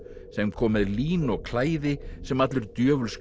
sem kom með lín og klæði sem allur